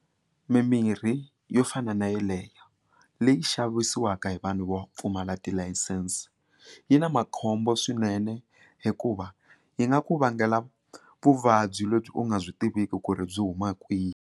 Mimirhi yo fana na yeleyo leyi xavisiwaka hi vanhu vo pfumala tilayisense yi na makhombo swinene hikuva yi nga ku vangela vuvabyi lebyi u nga byi tiviki ku ri byi huma kwihi.